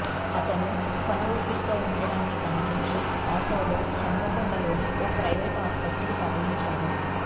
అతను కొన ఊపరితో ఉండటాన్ని గమనించి ఆటోలో హన్మకొండలోని ఓ ప్రైవేట్ ఆసుపత్రికి తరలించారు